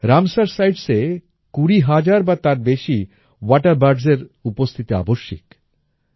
Ramsar সাইটসে কুড়ি হাজার বা তার বেশি ওয়াটার বার্ডস এর উপস্থিতি আবশ্যিক